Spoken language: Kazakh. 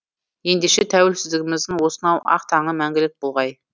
ендеше тәуелсіздігіміздің осынау ақ таңы мәңгілік болғай